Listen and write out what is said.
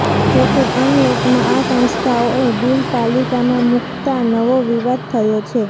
જોકે અનલોકમાં આ સંસ્થાઓએ બિલ પાલિકામાં મૂકતાં નવો વિવાદ થયો છે